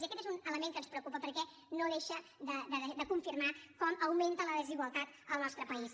i aquest és un element que ens preocupa perquè no deixa de confirmar com augmenta la desigualtat al nostre país